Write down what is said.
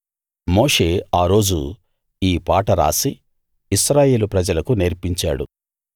మోషే ఆ రోజు ఈ పాట రాసి ఇశ్రాయేలు ప్రజలకు నేర్పించాడు